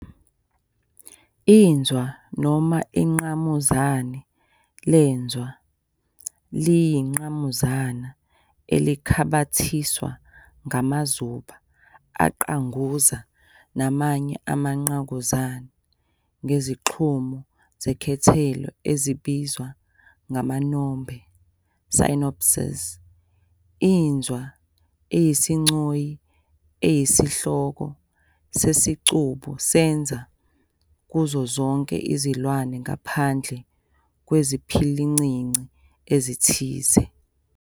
Inzwa noma ingqamuzana lenzwa liyingqamuzana elikhabathiswa ngamazuba aqanguza namanya amangqamuzana ngezixhumo zekhethelo ezibizwa amanombe, synapses. Inzwa iyisigcoyi esiyinhloko sesicubu senzwa kuzo zonke izilwane ngaphandle kweziphilincinci ezithile.